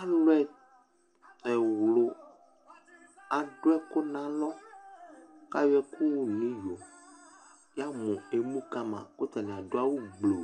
Alu ɛwlʋ adu ɛkʋ nʋ alɔ, kʋ ayɔ ɛkʋwʋ nʋ iyo Yamʋ emu kama, kʋ atani adu awugblu